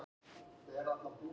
Í ábyrgð að sjálfsögðu.